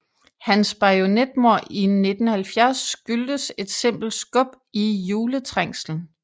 Hans bajonetmord i 1970 skyldtes et simpelt skub i juletrængslen